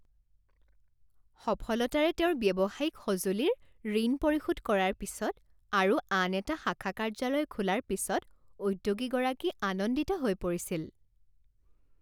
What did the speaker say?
সফলতাৰে তেওঁৰ ব্যৱসায়িক সঁজুলিৰ ঋণ পৰিশোধ কৰাৰ পিছত আৰু আন এটা শাখা কাৰ্যালয় খোলাৰ পিছত উদ্যোগীগৰাকী আনন্দিত হৈ পৰিছিল।